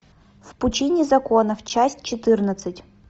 в пучине законов часть четырнадцать